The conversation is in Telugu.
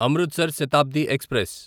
అమృత్సర్ శతాబ్ది ఎక్స్ప్రెస్